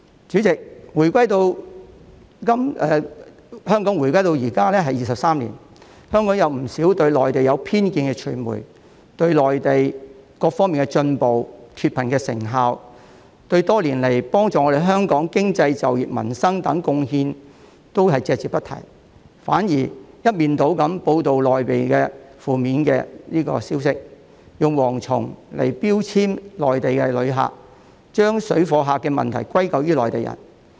主席，香港回歸23年，不少對內地存有偏見的傳媒，對內地各方面的進步和脫貧的成效，多年來幫助香港經濟、就業、民生等貢獻都隻字不提，反而一面倒報道內地的負面消息，用"蝗蟲"來標籤內地旅客，把"水貨客"的問題歸咎於內地人。